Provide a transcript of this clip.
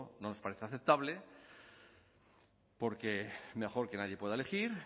no nos parece aceptable porque mejor que nadie pueda elegir